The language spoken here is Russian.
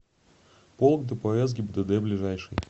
полк дпс гибдд ближайший